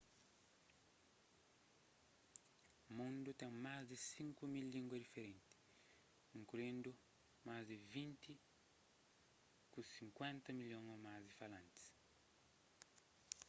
mundu ten más di 5.000 língua diferenti inkluindu más di vinti ku 50 milhon ô más di falantis